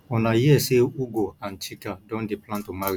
una hear say ugo and chika don dey plan to marry